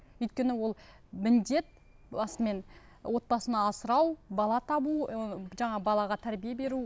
өйткені ол міндет басымен отбасын асырау бала табу ыыы жаңа балаға тәрбие беру